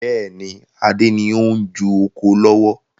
Bẹ́ẹ̀ni, Adé ni o n ju oko lọ́wọ́